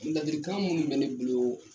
ladirikan minnu bɛ ne boloo